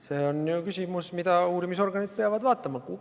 See on küsimus, mida uurimisorganid peavad vaatama.